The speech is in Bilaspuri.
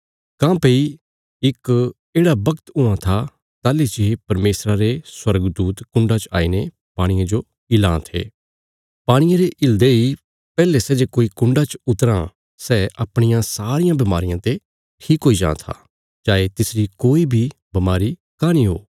काँह्भई इक येढ़ा बगत हुआं था ताहली जे परमेशरा रे स्वर्गदूत कुण्डा च आईने पाणिये जो हिलां थे पाणिये रे हिल्दे इ पैहले सै जे कोई कुण्डा च उतराँ सै अपणियां सारियां बमारियां ते ठीक हुई जां था चाये तिसरी कोई बी बमारी काँह नीं ओ